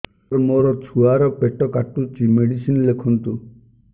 ସାର ମୋର ଛୁଆ ର ପେଟ କାଟୁଚି ମେଡିସିନ ଲେଖନ୍ତୁ